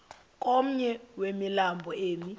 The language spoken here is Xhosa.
komnye wemilambo emi